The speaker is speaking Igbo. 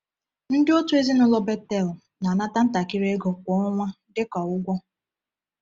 Ndị otu ezinụlọ Bethel na-anata ntakịrị ego kwa ọnwa dị ka ụgwọ.